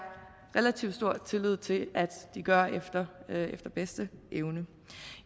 relativt stor tillid til at de gør efter bedste evne